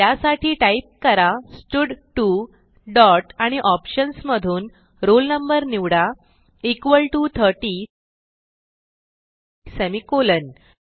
त्यासाठी टाईप करा स्टड2 डॉट आणि ऑप्शन्स मधून roll no निवडा इक्वॉल टीओ 30 सेमिकोलॉन